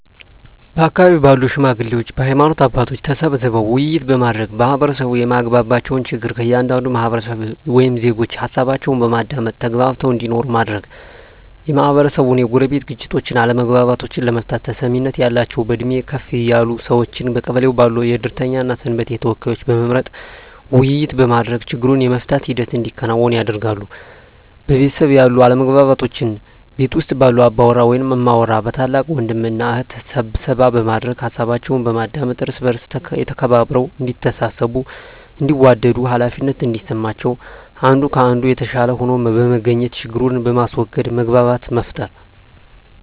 በአካባቢው ባሉ ሽማግሌዎች በሀይማኖት አባቶች ተሰብስበው ውይይት በማድረግ ማህበረሰቡ የማያግባባቸውን ችግር ከእያንዳንዱ ህብረተሰብ ወይም ዜጎች ሀሳባቸውን በማዳመጥ ተግባብተው እንዲኖሩ ማድረግ, የማህበረሰቡን የጎረቤት ግጭቶችን አለመግባባቶችን ለመፍታት ተሰሚነት ያላቸውን በእድሜ ከፍ ያሉ ሰዎችን በቀበሌው ባሉ የእድርተኛ እና የሰንበቴ ተወካዮችን በመምረጥ ውይይት በማድረግ ችግሩን የመፍታት ሂደት እንዲከናወን ያደርጋሉ። በቤተሰብ ያሉ አለመግባባቶችን ቤት ውስጥ ባሉ አባወራ ወይም እማወራ በታላቅ ወንድም እና እህት ስብሰባ በማድረግ ሀሳባቸውን በማዳመጥ እርስ በእርስ ተከባብረው እዲተሳሰቡ እንዲዋደዱ ሃላፊነት እንዲሰማቸው አንዱ ከአንዱ የተሻለ ሆኖ በመገኘት ችግርን በማስዎገድ መግባባትን መፍጠር።